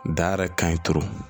Da yɛrɛ ka ɲi turu